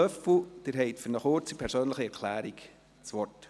Löffel, Sie haben für eine kurze persönliche Erklärung das Wort.